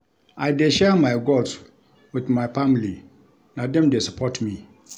I dey share my goals wit my family, na dem dey support me.